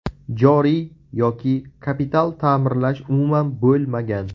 Joriy yoki kapital ta’mirlash umuman bo‘lmagan.